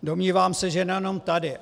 Domnívám se, že nejenom tady.